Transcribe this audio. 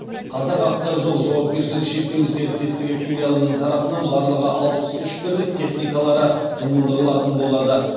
қазақавтожол жауапкершілігі шектеулі серіктестігі филиалының тарапынан барлығы алпыс үш бірлік техникалары жұмылдырылатын болады